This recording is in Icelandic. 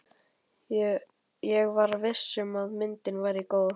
Ég var viss um að myndin væri góð.